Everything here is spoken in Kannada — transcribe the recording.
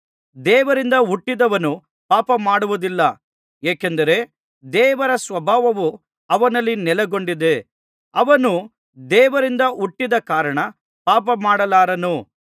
ದೇವರಿಂದ ಹುಟ್ಟಿದವನು ಪಾಪಮಾಡುವುದಿಲ್ಲ ಏಕೆಂದರೆ ದೇವರ ಸ್ವಭಾವವು ಅವನಲ್ಲಿ ನೆಲೆಗೊಂಡಿದೆ ಅವನು ದೇವರಿಂದ ಹುಟ್ಟಿದ ಕಾರಣ ಪಾಪಮಾಡಲಾರನು